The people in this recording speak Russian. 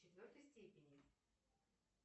в четвертой степени